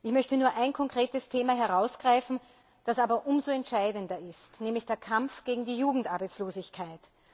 Ich möchte nur ein konkretes Thema herausgreifen, das aber umso entscheidender ist, nämlich den Kampf gegen die Jugendarbeitslosigkeit.